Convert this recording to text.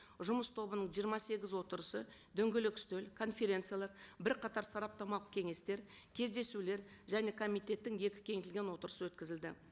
жұмыс тобының жиырма сегіз отырысы дөңгелек үстел конференциялар бірқатар сараптамалық кеңестер кездесулер және комитеттің екі кеңейтілген отырысы өткізілді